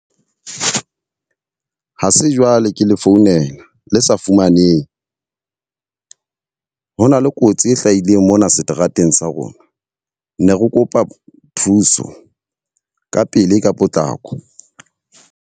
Ha se jwale ke le founela le sa fumanehe. Ho na le kotsi e hlahileng mona seterateng sa rona, ne re kopa thuso ka pele ka potlako.